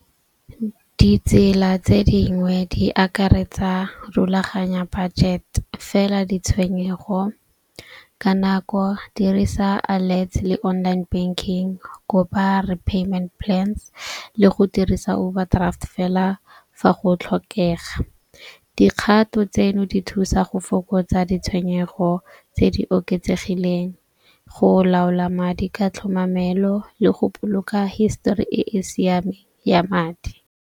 Ditsela tse dingwe di akaretsa rulaganya budget fela ditshwenyego ka nako dirisa le online banking. Kopa repayment plan le go dirisa overdraft fela fa go tlhokega, dikgato tseno di thusa go fokotsa ditshwenyego tse di oketsegileng, go laola madi ka tlhomamelo le go boloka histori e e ya madi.